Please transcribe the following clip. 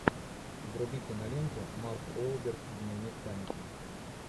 вруби киноленту марк уолберг дневник памяти